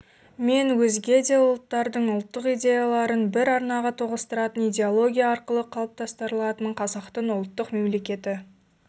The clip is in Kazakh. мен өзге де ұлттардың ұлттық идеяларын бір арнаға тоғыстыратын идеология арқылы қалыптастырылатын қазақтың ұлттық мемлекеті